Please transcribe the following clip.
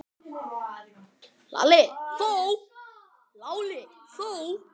Lalli þó!